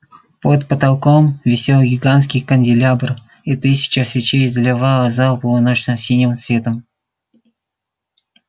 под потолком висел гигантский канделябр и тысяча свечей заливала зал полуночно-синим светом